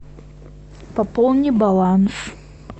пополни баланс